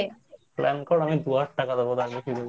Plan তো মানে